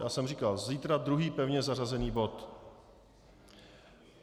Já jsem říkal: Zítra druhý pevně zařazený bod.